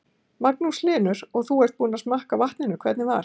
Magnús Hlynur: Og þú ert búinn að smakka á vatninu, hvernig var?